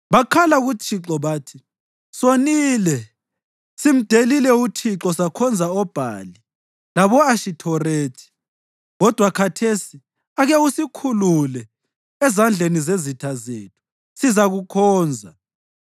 Bakhala kuThixo bathi, ‘Sonile, simdelile uThixo sakhonza oBhali labo-Ashithorethi. Kodwa khathesi ake usikhulule ezandleni zezitha zethu, sizakukhonza.’